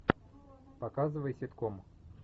показывай ситком